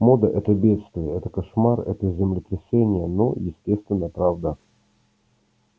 мода это бедствие это кошмар это землетрясение но естественно правда